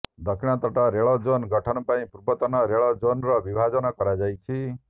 ଦକ୍ଷିଣତଟ ରେଳ ଜୋନ୍ ଗଠନ ପାଇଁ ପୂର୍ବତଟ ରେଳ ଜୋନ୍ର ବିଭାଜନ କରାଯାଇଛି